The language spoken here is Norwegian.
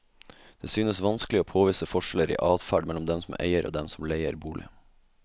Det synes vanskelig å påvise forskjeller i adferd mellom dem som eier og dem som leier bolig.